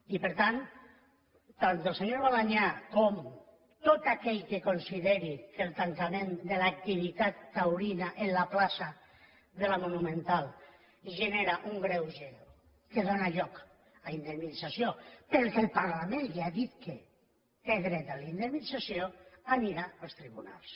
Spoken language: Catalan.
i per tant tant el senyor balañá com tot aquell que consideri que el tancament de l’activitat taurina en la plaça de la monumental genera un greuge que dóna lloc a indemnització perquè el parlament li ha dit que té dret a la indemnització anirà als tribunals